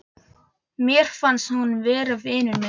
Mér finnst hún vera vinur minn.